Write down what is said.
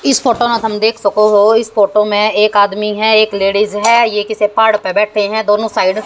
इस फोटो में हम देख सको हो इस फोटो में एक आदमी है एक लेडिज है ये किसी पहाड़ पे बैठे है दोनो साइड --